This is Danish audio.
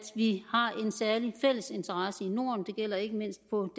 vi har en særlig fælles interesse i norden det gælder ikke mindst på